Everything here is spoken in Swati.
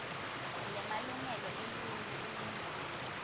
lemalungelo eluntfu eningizimu